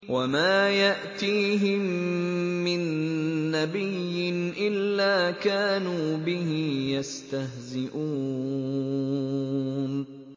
وَمَا يَأْتِيهِم مِّن نَّبِيٍّ إِلَّا كَانُوا بِهِ يَسْتَهْزِئُونَ